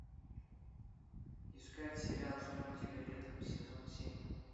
искать сериал ждем тебя летом сезон семь